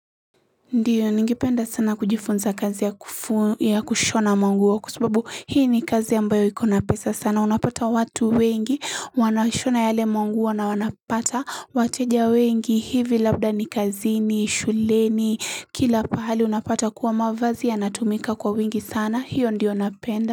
Ndiyo ningipenda sana kujifunza kazi ya kufua ya kushona mwanguo kwa subabu hii ni kazi ambayo iko na pesa sana unapata watu wengi wanashona yale mwanguo na wanapata wateja wengi hivi labda ni kazini shuleni kila pahali unapata kuwa mavazi yanatumika kwa wingi sana hiyo ndiyo napenda.